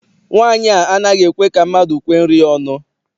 Nwaanyi a anaghị ekwe ka mmadụ kwee nri ya ọnụ.